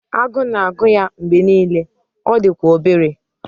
Agụụ na-agụ ya mgbe niile, ọ dị kwa obere